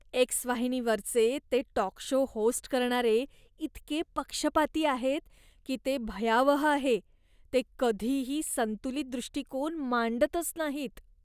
X वाहिनीवरचे ते talk show host करणारे इतके पक्षपाती आहेत, की ते भयावह आहे. ते कधीही संतुलित दृष्टिकोन मांडतच नाहीत.